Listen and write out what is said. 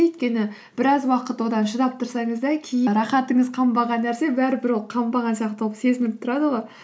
өйткені біраз уақыт одан шыдап тұрсаңыз да кейін рахатыңыз қанбаған нәрсе бәрібір ол қанбаған сияқты болып сезініп тұрады ғой